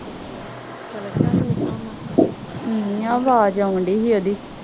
ਆਵਾਜ਼ ਆਉਣ ਡੀ ਇਹਦੀ